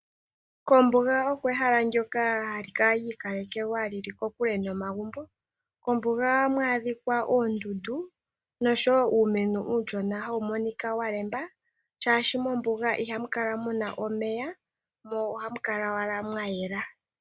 Ombuga olyo ehala ndyoka lyiikalekelwa hali kala lyili kokule nomagumbo. Mombuga ohamu adhika oondundu no sho uumeno mbu uushona hawu monika wa ganya shaadhi mombuga ihamu kala muna omeya. Ohamu kala mwa yela.